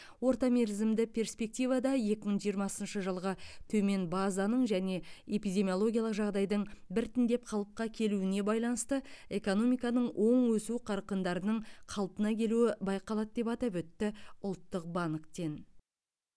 орта мерзімді перспективада екі мың жиырмасыншы жылғы төмен базаның және эпидемиологиялық жағдайдың біртіндеп қалыпқа келуіне байланысты экономиканың оң өсу қарқындарының қалпына келуі байқалады деп атап өтті ұлттық банктен